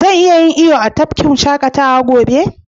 Zan iya yin iyo a tafkin shakatawa gobe?